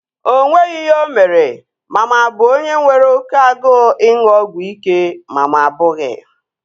O nweghị ihe o mere ma mụ a bụ onye nwere oké agụụ ịṅụ ọgwụ ike ma mụ abụghị